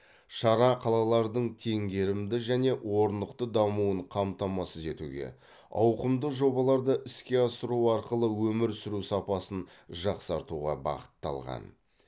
шара қалалардың теңгерімді және орнықты дамуын қамтамасыз етуге ауқымды жобаларды іске асыру арқылы өмір сүру сапасын жақсартуға бағытталған